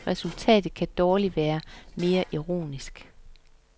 Resultatet kan dårligt være mere ironisk.